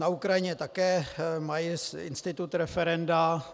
Na Ukrajině také mají institut referenda.